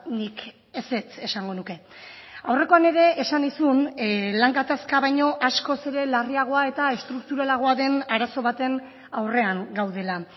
nik ezetz esango nuke aurrekoan ere esan nizun lan gatazka baino askoz ere larriagoa eta estrukturalagoa den arazo baten aurrean gaudela